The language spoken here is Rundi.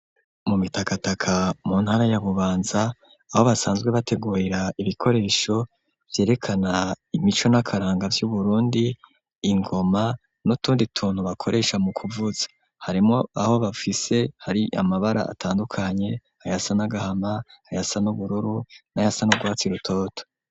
Mu Mitakataka mu ntara ya Bubanza, aho basanzwe bategurera ibikoresho vyerekana imico n'akaranga vy'Uburundi ,ingoma n'utundi tuntu bakoresha mu kuvuza harimwo aho bafise hari amabara atandukanye, ayasa n'agahama ,ayasa n'ubururu, nayasa n'urwatsi rutoto.